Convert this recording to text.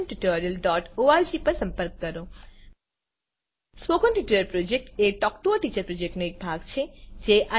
spoken tutorial project એ talk to a teacher પ્રોજેક્ટનો એક ભાગ છે